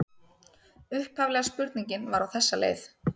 Upphaflega spurningin var á þessa leið: